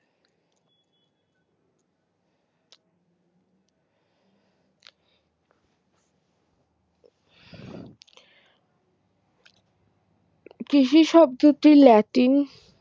কৃষি শব্দটি ল্যাটিন